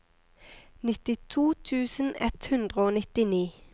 nittito tusen ett hundre og nittini